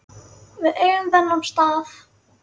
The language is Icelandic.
Við eigum þennan stað